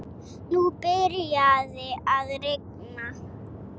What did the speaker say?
Nú byrjaði að rigna.